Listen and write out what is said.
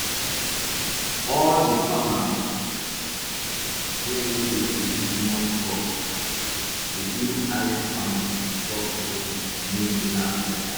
all di farmers wey no dey produce much crops dey do alley farming to stop erosion and make di land fertile